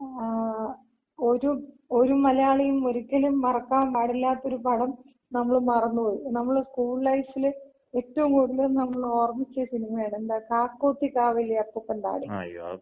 ങ്ങാ. ഒര് ഒര് മലയാളിയും ഒരിക്കലും മറക്കാൻ പാടില്ലാത്ത ഒര് പടം നമ്മള് മറന്ന്പോയി. നമ്മള് സ്കൂൾ ലൈഫില് ഏറ്റവും കൂടുതല് നമ്മള് ഓർമിച്ച സിനിമയാണ്. എന്താ, കാക്കോത്തിക്കാവിലെ അപ്പൂപ്പൻതാടികള്.